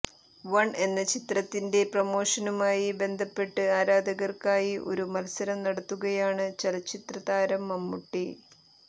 one എന്ന ചിത്രത്തിന്റെ പ്രമോഷനുമായി ബന്ധപ്പെട്ട് ആരാധകര്ക്കായി ഒരു മത്സരം നടത്തുകയാണ് ചലച്ചിത്ര താരം മമ്മൂട്ടി